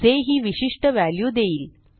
जे ही विशिष्ट व्हॅल्यू देईल